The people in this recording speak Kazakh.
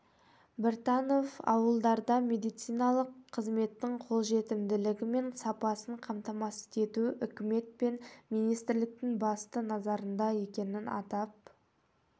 біртанов ауылдарда медициналық қызметтің қолжетімділігі мен сапасын қамтамасыз ету үкімет пен министрліктің басты назарында екенін атап